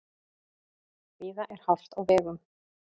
Víða er hált á vegum